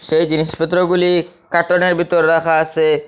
সেই জিনিসপত্রগুলি কাটোনের বিতর রাখা আসে।